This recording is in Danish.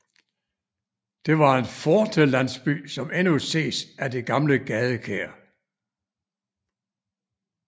Det var en fortelandsby som endnu ses af det gamle gadekær